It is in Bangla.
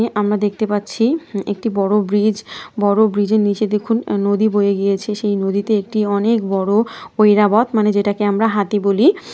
যে আমরা দেখতে পাচ্ছি হু একটি বড় ব্রিজ । বড় ব্রিজের নিচে দেখুন নদী বয়ে গিয়েছে। সেই নদীতে একটি অনেক বড় ঐরাবত মানে যেটাকে আমরা হাতি বলি।